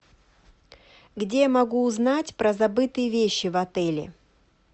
где я могу узнать про забытые вещи в отеле